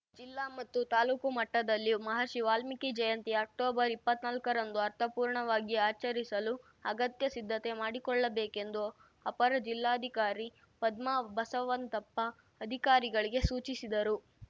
ಜಿಲ್ಲಾ ಮತ್ತು ತಾಲೂಕು ಮಟ್ಟದಲ್ಲಿ ಮಹರ್ಷಿ ವಾಲ್ಮೀಕಿ ಜಯಂತಿ ಅಕ್ಟೊಬರ್ಇಪ್ಪತ್ನಾಲ್ಕರಂದು ಅರ್ಥಪೂರ್ಣವಾಗಿ ಆಚರಿಸಲು ಅಗತ್ಯ ಸಿದ್ದತೆ ಮಾಡಿಕೊಳ್ಳಬೇಕೆಂದು ಅಪರ ಜಿಲ್ಲಾಧಿಕಾರಿ ಪದ್ಮಾ ಬಸವಂತಪ್ಪ ಅಧಿಕಾರಿಗಳಿಗೆ ಸೂಚಿಸಿದರು